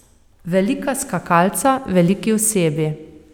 Velika skakalca, veliki osebi.